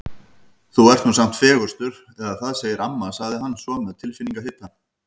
Þú ert nú samt fegurstur eða það segir amma sagði hann svo með tilfinningahita.